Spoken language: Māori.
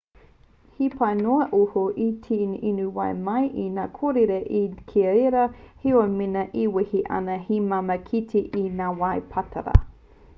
he pai noa iho te inu wai mai i ngā kōrere ki reira heoi mēnā e wehi ana he māmā te kite i ngā wai pātara